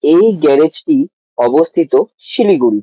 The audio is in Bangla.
এই গ্যারেজ টি অবস্থিত শিলিগুড়ি।